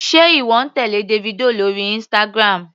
Sé ìwọ ń tèlé Davido lórí Instagram.